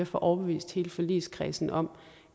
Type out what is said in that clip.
få overbevist hele forligskredsen om